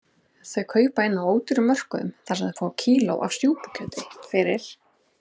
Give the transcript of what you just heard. Þau kaupa inn á ódýrum mörkuðum þar sem fá má kíló af súpukjöti fyrir